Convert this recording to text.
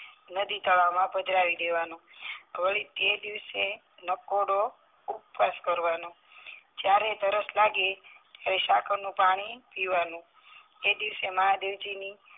નદી તળાવમાં પધરાવી દેવાનો વળીતે દિવસે નકોડો ઊપવાસ કરવાનો જયારે તરસ લાગે ત્યારે સાકરનું પાણી પીવાનું એ દિવસે મહાદેવજીની